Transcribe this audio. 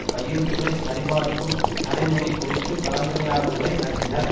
கையெழுத்துக்களை சரிபார்க்கும் நடைமுறை குறித்து கலந்துரையாடல்களை நடத்தினர்